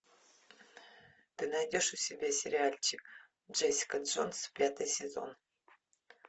ты найдешь у себя сериальчик джессика джонс пятый сезон